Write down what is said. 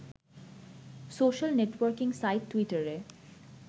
social networking site টুইটারে